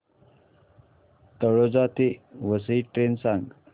तळोजा ते वसई ट्रेन सांग